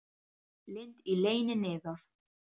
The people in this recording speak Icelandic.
Lind í leyni niðar.